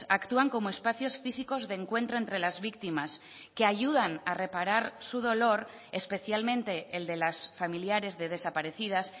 actúan como espacios físicos de encuentro entre las víctimas que ayudan a reparar su dolor especialmente el de las familiares de desaparecidas